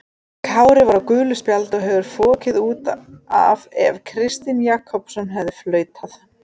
Kári var á gulu spjaldi og hefði fokið út af ef Kristinn Jakobsson hefði flautað.